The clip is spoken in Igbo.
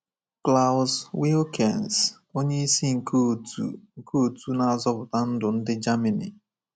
Klaus Wilkens, onyeisi nke Òtù nke Òtù Na-azọpụta Ndụ ndi Germany.